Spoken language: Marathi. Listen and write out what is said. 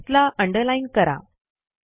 टेक्स्टला अंडरलाईन करा